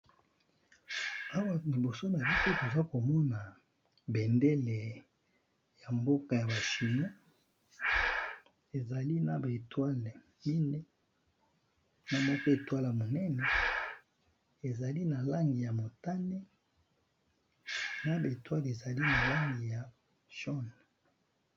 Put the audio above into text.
Awa liboso na biso toza komona bendele ya mboka ya bachino ezali na monzoto ya monene ya motane na ya Mike ezali na langi ya mosaka.